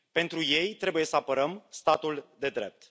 Pentru ei trebuie să apărăm statul de drept.